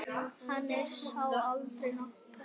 Hann er sá eldri okkar.